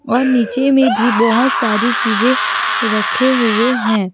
और नीचे में भी बहोत सारी चीजें रखें हुए हैं।